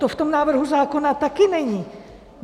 To v tom návrhu zákona taky není!